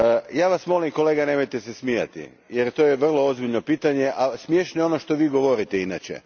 Ja Vas molim kolega, nemojte se smijati jer to je vrlo ozbiljno pitanje, a smiješno je ono što Vi govorite inače.